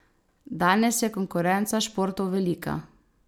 Danes je konkurenca športov velika.